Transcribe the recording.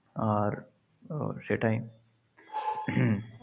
আর সেটাই।